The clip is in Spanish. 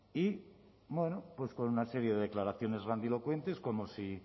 y bueno pues con una serie de declaraciones grandilocuentes como si